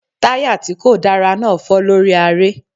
Táyà tí kò dára náà fọ́ lórí aré.